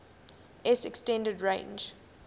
s extended range